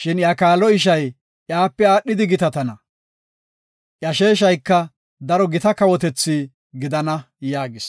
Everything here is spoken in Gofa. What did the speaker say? shin iya kaalo ishay iyape aadhidi gitatana. Iya sheeshayka daro gita kawotetha gidana” yaagis.